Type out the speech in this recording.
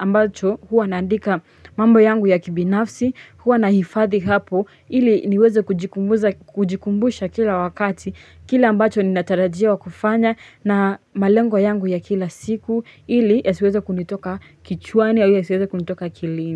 ambacho huwa naandika mambo yangu ya kibinafsi huwa na hifadhi hapo ili niweze kujikumbusha kujikumbusha kila wakati kile ambacho ninatarajiwa kufanya na malengo yangu ya kila siku ili ya siweze kunitoka kichwani au ya siweze kunitoka akilini.